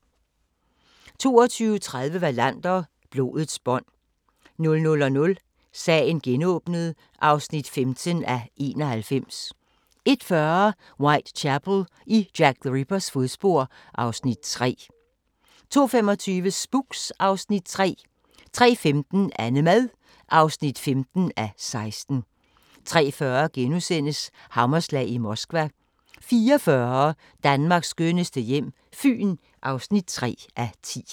22:30: Wallander: Blodets bånd 00:00: Sagen genåbnet (15:91) 01:40: Whitechapel: I Jack the Rippers fodspor (Afs. 3) 02:25: Spooks (Afs. 3) 03:15: AnneMad (15:16) 03:40: Hammerslag i Moskva * 04:40: Danmarks skønneste hjem - Fyn (3:10)